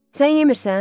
Sən yemirsən?